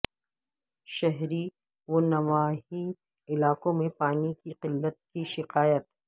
شہری ونواحی علاقوں میں پانی کی قلت کی شکایات